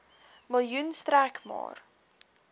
miljoen sterk maak